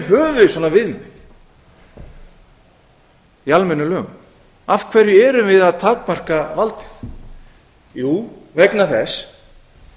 höfum við svona viðmið í almennum lögum af hverju erum við að takmarka valdið jú vegna þess